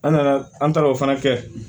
An nana an taara o fana kɛ